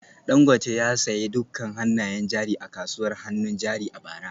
Dangote ya sayi dukkan hannayen jari a kasuwar hannun jari a bara